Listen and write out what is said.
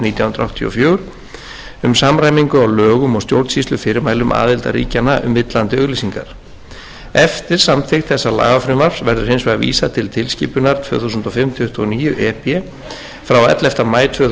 nítján hundruð áttatíu og fjögur um samræmingu á lögum og stjórnsýslufyrirmælum aðildarríkjanna um villandi auglýsingar eftir samþykkt þessa lagafrumvarps verður hins vegar vísað til tilskipunar tvö þúsund og fimm tuttugu og níu e b frá ellefta maí tvö þúsund og fimm um